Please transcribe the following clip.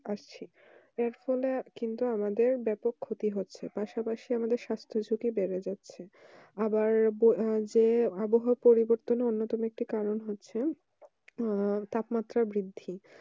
আসছি এর ফলে কিন্তু আমাদের ব্যাপক ক্ষতি হচ্ছে পাশাপাশি আমাদের স্বাস্থ্য সাথী বেড়ে যাচ্ছে আবার যে এই আবহাওয়া পরিবর্তন অন্যতম কারণ হচ্ছে আহ তাপমাত্রা বৃদ্ধি